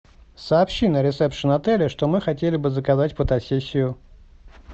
сообщи на ресепшен отеля что мы хотели бы заказать фотосессию